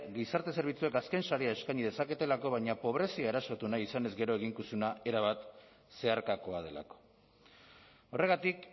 gizarte zerbitzuek azken sarea eskaini dezaketelako baina pobrezia erasotu nahi izanez gero eginkizuna erabat zeharkakoa delako horregatik